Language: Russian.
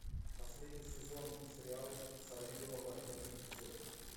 последний сезон сериал сорви голова пятый эпизод